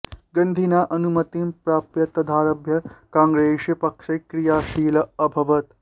गन्धिना अनुमतिं प्राप्य तदारभ्य काङ्ग्रेस् पक्षे क्रियाशीलः अभवत्